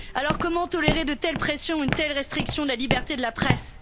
Comment alors tolérer de telles pressions, une telle restriction de la liberté de la presse?